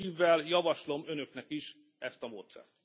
Jó szívvel javaslom Önöknek is ezt a módszert.